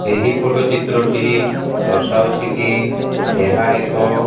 ଏହି ଫଟୋ ଚିତ୍ର ଟି ଦର୍ଶାଉଛି କି ଏହା ଏକ।